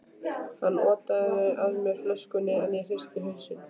Hann otaði að mér flöskunni, en ég hristi hausinn.